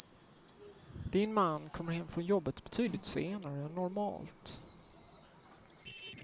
Din man kommer hem från jobbet betydligt senare än normalt.